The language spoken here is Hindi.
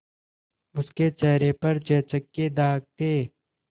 उसके चेहरे पर चेचक के दाग थे